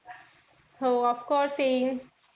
हो of course येईन.